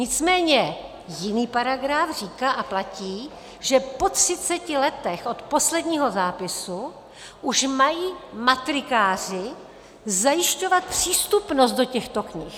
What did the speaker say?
Nicméně jiný paragraf říká a platí, že po 30 letech od posledního zápisu už mají matrikáři zajišťovat přístupnost do těchto knih.